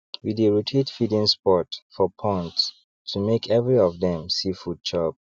we dey rotate feeding spots for ponds to make every of dem see food chop